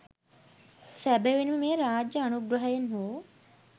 සැබැවින්ම මෙය රාජ්‍ය අනුග්‍රහයෙන් හෝ